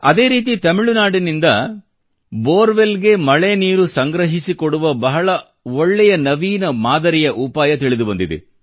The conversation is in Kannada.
ಅದೇ ರೀತಿ ತಮಿಳುನಾಡಿನಿಂದ ಬೋರ್ ವೆಲ್ ಗೆ ಮಳೆನೀರು ಸಂಗ್ರಹಿಸಿಕೊಡುವ ಬಹಳ ಒಳ್ಳೆಯ ಬಹಳ ಒಳ್ಳೆಯ ನವೀನ ಮಾದರಿಯ ಉಪಾಯ ತಿಳಿದು ಬಂದಿದೆ